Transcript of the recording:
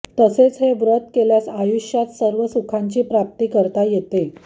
तसेच हे व्रत केल्यास आयुष्यात सर्व सुखांची प्राप्ती करता येते